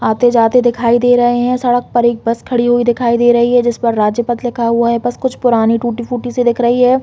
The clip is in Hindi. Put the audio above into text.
आते-जाते दिखाई दे रहै है सड़क पर एक बस खड़ी हुई दिखाई दे रही है जिस पर राज्य पद लिखा हुआ है बस कुछ पुरानी टूटी-फूटी सी दिख रही है।